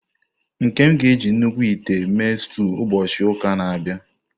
Nkem ga-eji nnukwu ite mee stew ụbọchị ụka na-abịa.